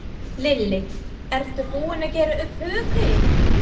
Lillý: Ertu búinn að gera upp hug þinn?